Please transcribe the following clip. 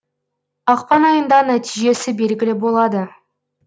ақпан айында нәтижесі белгілі болады